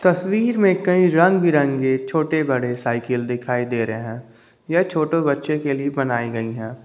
तस्वीर में कई के रंग बिरंगे छोटे बड़े साइकिल दिखाई दे रहे हैं यह छोटे बच्चों के लिए बनाई गई है।